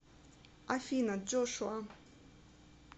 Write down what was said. афина джошуа